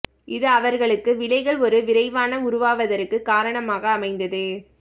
இது அவர்களுக்கு விலைகள் ஒரு விரைவான உருவாவதற்கு காரணமாக அமைந்தது